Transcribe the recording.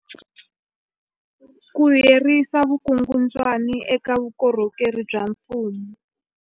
Ku herisa vukungundwani eka vukorhokeri bya mfumo.